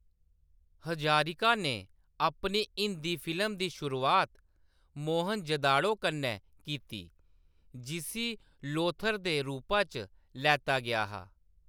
हजारिका ने अपनी हिंदी फिल्म दी शुरुआत मोहनजोदड़ो कन्नै कीती, जिसी लोथर दे रूपा च लैता गेआ हा।